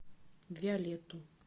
виолетту